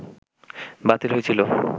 বাতিল হইছিল